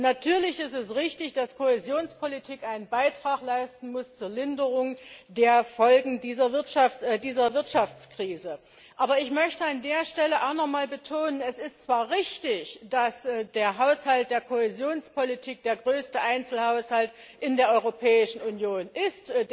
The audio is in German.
Natürlich ist es richtig, dass Kohäsionspolitik einen Beitrag zur Linderung der Folgen dieser Wirtschaftskrise leisten muss. Aber ich möchte an dieser Stelle nochmals betonen Es ist zwar richtig, dass der Haushalt der Kohäsionspolitik der größte Einzelhaushalt in der Europäischen Union ist.